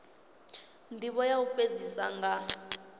ndivho ya u fhedzisa nga